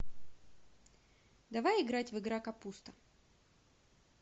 давай играть в игра капуста